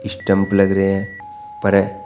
stump लग रहे हैं पर--